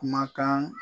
Kumakan